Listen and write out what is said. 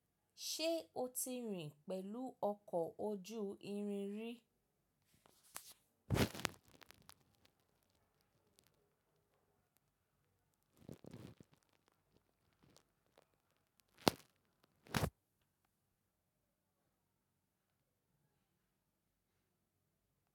Ṣé o ti rìn pẹ̀lú ọkọ̀ ojú irin rí?